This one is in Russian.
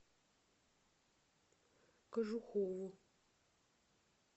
кожухову